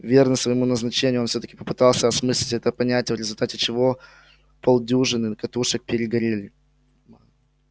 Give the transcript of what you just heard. верный своему назначению он всё-таки попытался осмыслить это понятие в результате чего полдюжины катушек перегорели